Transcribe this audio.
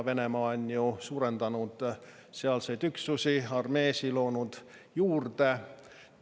Venemaa on ju suurendanud sealseid üksusi, loonud juurde armeesid.